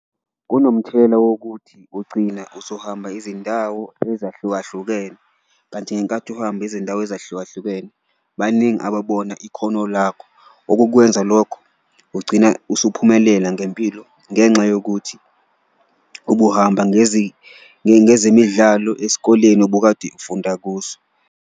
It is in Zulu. Kunomthelela wokuthi ugcina usuhamba izindawo ezahlukahlukene kanti ngenkathi uhamba izindawo ezahlukahlukene baningi ababona ikhono lakho, okukwenza lokho ugcina usuphumelela ngempilo ngenxa yokuthi ubuhamba ngezemidlalo esikoleni obukade ufunda kuso.